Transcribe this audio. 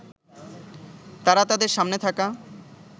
তারা তাদের সামনে থাকা